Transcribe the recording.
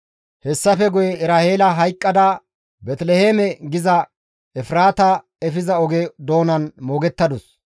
Hessafe guye Eraheela hayqqada Beeteliheeme giza Efraata efiza oge doonan moogettadus.